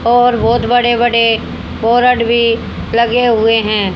और बहोत बड़े बड़े बोरड भी लगे हुए है।